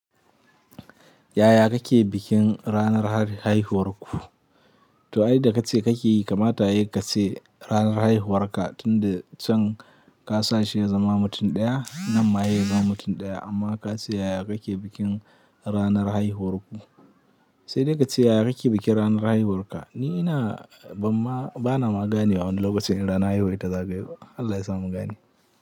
Yaya kake bikin ranar haihuwarku? To, ai da kace kake yi kamar ta yace ranar haihuwarka tunda can ka sa shi ya zama mutum ɗaya nan ma ya yi zama mutum ɗaya amma ka ce yaya kake bikin ranar haihuwarku? Sai dai ka ce yaya kake bikin ranar haihuwarka. Ni ina ban ma, bana magani a wani lokacin idan haihuwa ta zaɓi. Allah ya sa mun gani.